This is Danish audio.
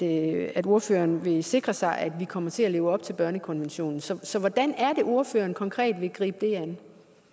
at ordføreren vil sikre sig at vi kommer til at leve op til børnekonventionen så så hvordan er det ordføreren konkret vil gribe det an